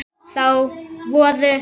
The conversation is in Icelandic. Þá voru